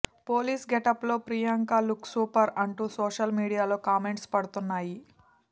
police getup లో Priyanka look super అంటూ social మీడియాలో కామెంట్స్ పడుతున్నాయి